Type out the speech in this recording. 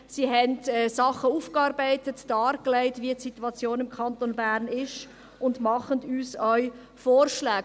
Sie haben Dinge aufgearbeitet, dargelegt, wie die Situation im Kanton Bern ist, und machen uns auch Vorschläge.